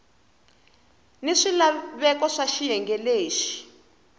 ni swilaveko swa xiyenge lexi